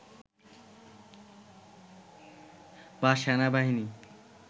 বা সেনাবাহিনী